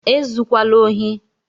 E zukwala ohi!